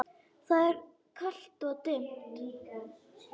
Það er kalt og dimmt.